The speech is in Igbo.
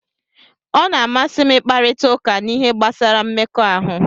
Ọ na-amasị m ịkparịta ụka n'ihe gbasara mmekọahụ